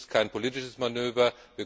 Dies ist kein politisches Manöver.